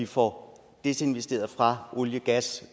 får desinvesteret fra olie gas